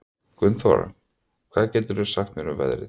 Gunnþóra, hvað geturðu sagt mér um veðrið?